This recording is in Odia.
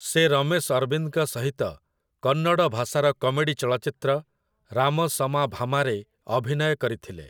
ସେ ରମେଶ ଅରବିନ୍ଦଙ୍କ ସହିତ କନ୍ନଡ଼ ଭାଷାର କମେଡ଼ି ଚଳଚ୍ଚିତ୍ର 'ରାମ ଶମା ଭାମା'ରେ ଅଭିନୟ କରିଥିଲେ ।